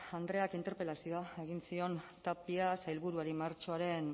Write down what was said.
andreak interpelazioa egin zion tapia sailburuari martxoaren